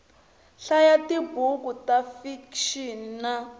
hlaya tibuku ta fikixini na